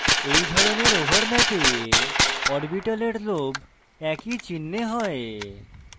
in ধরনের ওভারল্যাপে orbitals lobes একই চিনহে হয়